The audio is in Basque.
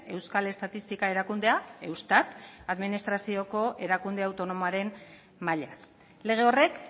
euskal estatistika erakundea eustat administrazioko erakunde autonomoaren mailaz lege horrek